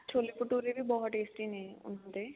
ਛੋਲੇ ਭਟੁਰੇ ਵੀ ਬਹੁਤ tasty ਨੇ ਉਹਨਾ ਦੇ